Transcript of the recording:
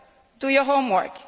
do your homework.